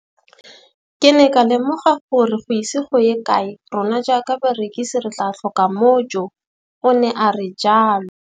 Ke ne ka lemoga gore go ise go ye kae rona jaaka barekise re tla tlhoka mojo, o ne a re jalo.